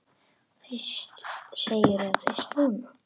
Og þetta segirðu fyrst núna.